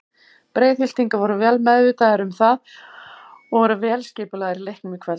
Breiðhyltingar voru vel meðvitaðir um það og voru vel skipulagðir í leiknum í kvöld.